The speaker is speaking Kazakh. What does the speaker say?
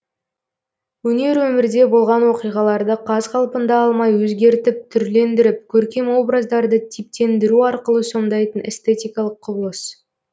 өнер өмірде болған оқиғаларды қаз қалпында алмай өзгертіп түрлендіріп көркем образдарды типтендіру арқылы сомдайтын эстетикалық құбылыс